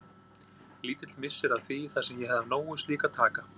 Lítill missir að því þar sem ég hefði af nógu slíku að taka.